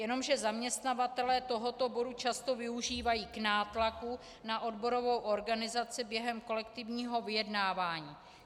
Jenomže zaměstnavatelé tohoto bodu často využívají k nátlaku na odborovou organizaci během kolektivního vyjednávání.